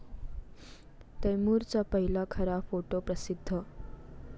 तैमूरचा पहिला खरा फोटो प्रसिध्द